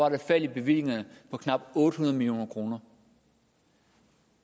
et fald i bevillingerne på knap otte hundrede million kroner